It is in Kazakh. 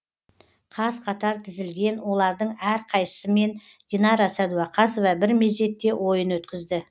қаз қатар тізілген олардың әрқайсысымен динара сәдуақасова бір мезетте ойын өткізді